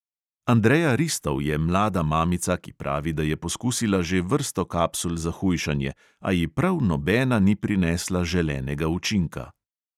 Andrea ristov je mlada mamica, ki pravi, da je poskusila že vrsto kapsul za hujšanje, a ji prav nobena ni prinesla želenega učinka.